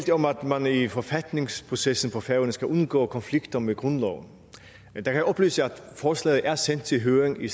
man i forfatningsprocessen på færøerne skal undgå konflikter med grundloven men jeg kan oplyse at forslaget er sendt til høring i